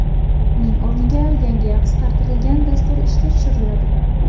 Uning o‘rniga yangi, qisqartirilgan dastur ishga tushiriladi.